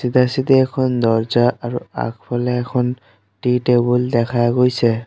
চিধা-চিধা এখন দৰ্জা আৰু আগফালে এখন টি টেবুল দেখা গৈছে।